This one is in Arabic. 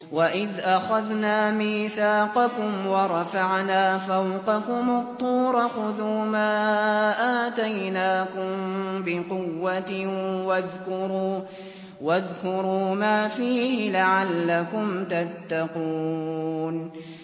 وَإِذْ أَخَذْنَا مِيثَاقَكُمْ وَرَفَعْنَا فَوْقَكُمُ الطُّورَ خُذُوا مَا آتَيْنَاكُم بِقُوَّةٍ وَاذْكُرُوا مَا فِيهِ لَعَلَّكُمْ تَتَّقُونَ